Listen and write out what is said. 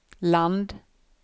land